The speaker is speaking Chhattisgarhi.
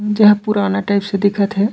जहाँ पुराना टाइप्स से दिखत हे।